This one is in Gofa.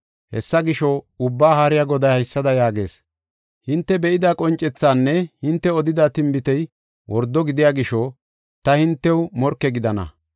Hessa gisho, Ubbaa Haariya Goday haysada yaagees; “Hinte be7ida qoncethanne hinte odida tinbitey wordo gidiya gisho ta hintew morke gidana.